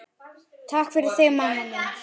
Takk fyrir þig, mamma mín.